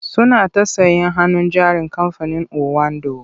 Suna ta sayen hannun jarin kamfanin owando.